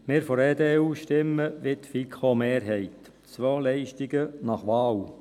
Wir von der EDU stimmen wie die FiKo-Mehrheit: Zwei Leistungen nach Wahl.